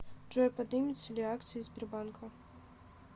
джой подымется ли акции сбербанка